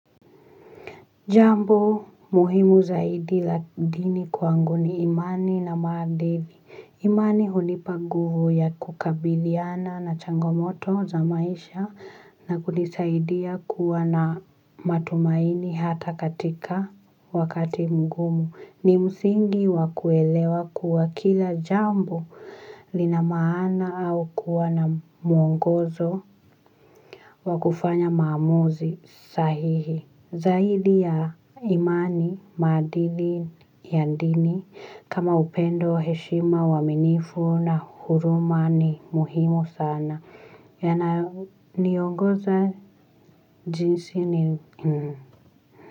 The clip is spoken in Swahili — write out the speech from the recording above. Jambo muhimu zaidi la dini kwangu ni imani na maadili. Imani hunipa nguvu ya kukabiliana na changomoto za maisha na kunisaidia kuwa na matumaini hata katika wakati mgumu. Ni msingi wa kuelewa kuwa kila jambo linamaana au kuwa na mwongozo wa kufanya maamuzi sahihi. Zaidi ya imani, maadili ya dini, kama upendo heshima uwaminifu na huruma ni muhimu sana, yana niongoza jinsi ni.